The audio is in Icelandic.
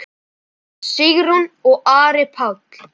Sigrún og Ari Páll.